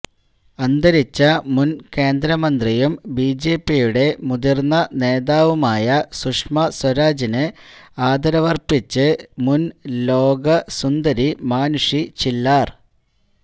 അന്തരിച്ച മുൻ കേന്ദ്രമന്ത്രിയും ബിജെപിയുടെ മുതിര്ന്ന നേതാവുമായ സുഷമാ സ്വരാജിന് ആദരവര്പ്പിച്ച് മുൻ ലോക സുന്ദരി മാനുഷി ചില്ലാർ